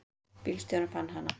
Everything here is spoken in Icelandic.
Bílstjórinn fann hana.